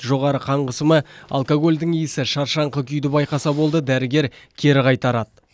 жоғары қан қысымы алкогольдің иісі шаршаңқы күйді байқаса болды дәрігер кері қайтарады